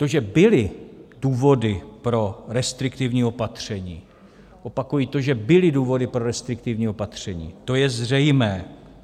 To, že byly důvody pro restriktivní opatření - opakuji, to, že byly důvody pro restriktivní opatření, to je zřejmé.